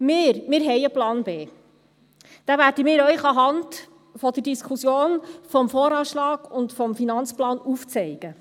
Wir haben einen Plan B. Diesen werden wir Ihnen anhand der Diskussion über den VA und den Finanzplan aufzeigen.